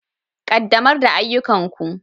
Ƙaddamar da ayyukanku.